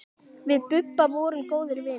Við Bubba vorum góðir vinir.